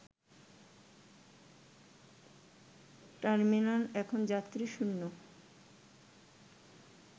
terminal এখন যাত্রীশূন্য